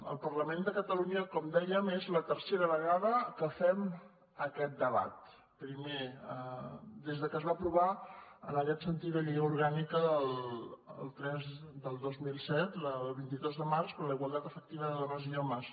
al parlament de catalunya com dèiem és la tercera vegada que fem aquest debat primer des que es va aprovar en aquest sentit la llei orgànica tres del dos mil set el vint dos de març per a la igualtat efectiva de dones i homes